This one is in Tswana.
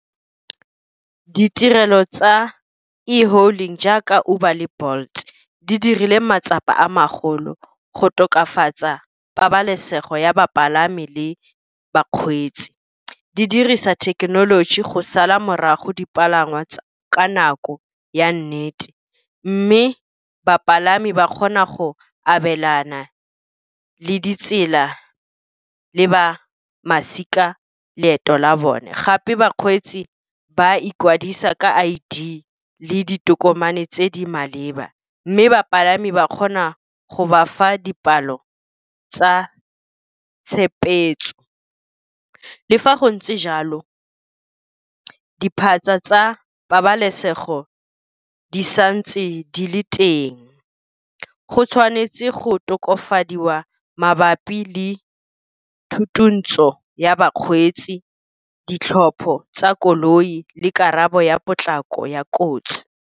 Ditirelo tsa e-hailing jaaka Uber le Bolt di dirile matsapa a magolo go tokafatsa pabalesego ya bapalami le bakgweetsi. Di dirisa thekenoloji go sala morago dipalangwa ka nako ya nnete, mme bapalami ba kgona go abelana le ditsela le ba masika leeto la bone. Gape bakgweetsi ba ikwadisa ka I_D le ditokomane tse di maleba, mme bapalami ba kgona go ba fa dipalo tsa . Le fa go ntse jalo diphatsa tsa pabalesego di sa ntse di le teng, go tshwanetse go tokafadiwa mabapi le thutontsho ya bakgweetsi, ditlhopho tsa koloi le karabo ya potlako ya kotsi.